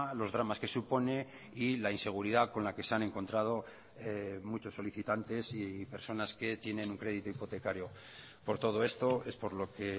los dramas que supone y la inseguridad con la que se han encontrado muchos solicitantes y personas que tienen un crédito hipotecario por todo esto es por lo que